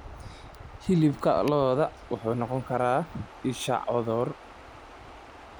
Hilibka lo'da wuxuu noqon karaa isha cudur.